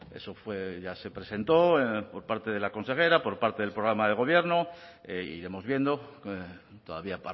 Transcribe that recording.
eso fue ya se presentó por parte de la consejera por parte del programa de gobierno iremos viendo todavía